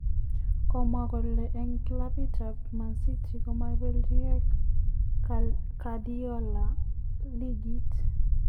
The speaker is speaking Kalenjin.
Kimwaa gole en kilabiit ab Man City komoibelijigei Guardiola ligit.